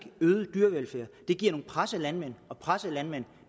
øget dyrevelfærd det giver nogle pressede landmænd og pressede landmænd